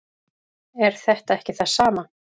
er þetta ekki það sama